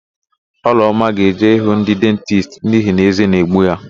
Ọlụọma ga-eje ịhụ ndị dentisti n'ihi na ézé na-egbu ya.